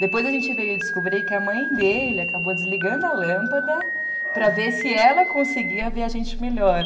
Depois a gente veio descobrir que a mãe dele acabou desligando a lâmpada para ver se ela conseguia ver a gente melhor.